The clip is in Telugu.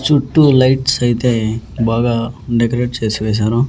చుట్టూ లైట్స్ అయితే బాగా డెకరేట్ చేసి వేశారు.